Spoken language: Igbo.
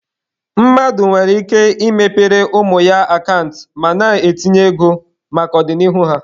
Mmadụ nwere ike ị mepere ụmụ ya akant ma na-etinye ego maka ọdịnihu ha.